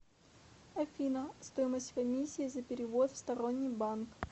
афина стоимость комиссии за перевод в сторонний банк